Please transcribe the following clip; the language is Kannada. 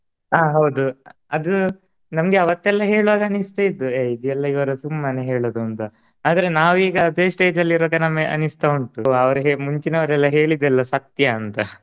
ಆ ಹೌದು ಅದು ನಮ್ಗೆ ಅವತ್ತೆಲ್ಲಾ ಹೇಳುವಾಗ ಅನ್ನಿಸ್ತಾ ಇತ್ತು ಎ ಇದ್ ಎಲ್ಲಾ ಇವರು ಸುಮ್ಮನೆ ಹೇಳೋದು ಅಂತ ಆದರೆ ನಾವೀಗ ಅದೇ stage ಅಲ್ ಇರುವಾಗ ನಮ್ಗೆ ಅನ್ನಿಸ್ತಾ ಉಂಟು ಅವ್ರ್ ಹೇ~ ಮುಂಚಿನವ್ರ್ ಎಲ್ಲಾ ಹೇಳಿದ್ದೆಲ್ಲಾ ಸತ್ಯ ಅಂತ.